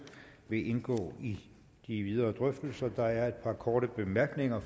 vil indgå i de videre drøftelser der er et par korte bemærkninger